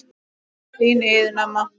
Þín Iðunn amma.